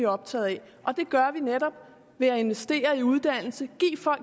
optaget af og det gør vi netop ved at investere i uddannelse